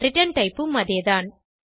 return type ம் அதேதான்